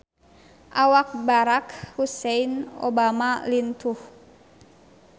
Awak Barack Hussein Obama lintuh